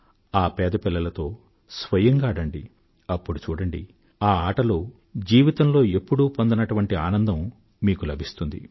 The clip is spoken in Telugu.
ఆ పేద పిల్లలతో స్వయంగా ఆడండి అప్పుడు చూడండి ఆ ఆటలో జీవితంలో ఎప్పుడూ పొందనటువంటి ఆనందం మీకు లభిస్తుంది